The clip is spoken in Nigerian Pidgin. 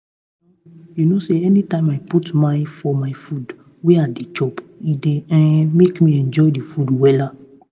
you know you know say anytime i put mine for my food wey i dey chop e dey um make me enjoy the food wella